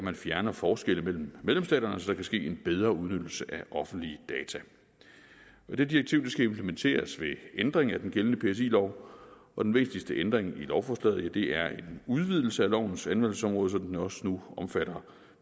at fjerne forskelle mellem medlemsstaterne så der kan ske en bedre udnyttelse af offentlige data det direktiv skal implementeres ved en ændring af den gældende psi lov og den vigtigste ændring i lovforslaget er en udvidelse af lovens anvendelsesområde så den også nu omfatter